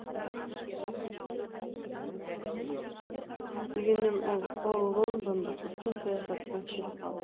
дегенмен ол лондондық үлкен саясаттан шет қалды